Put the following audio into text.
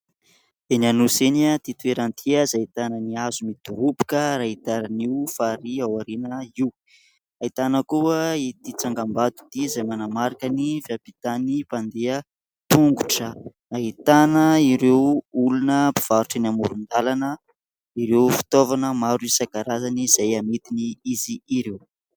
Eny Anosy eny ity toerana ity : izay tananan'ny hazo midoroboka ary ahitana io farihy ao aoriana io, ahitana koa ity tsangambato ity izay manamarika ny fiampitany mpandeha tongotra ; ahitana ireo olona mpivarotra eny amoron-dalana, ireo fitaovana maro isankarazany izay amidin' izy ireo.